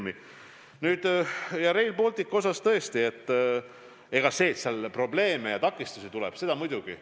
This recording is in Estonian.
Mis puutub Rail Balticusse, siis tõesti, seal probleeme ja takistusi tuleb, seda muidugi.